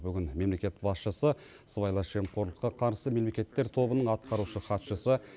бүгін мемлекет басшысы сыбайлас жемқорлыққа қарсы мемлекеттер тобының атқарушы хатшысы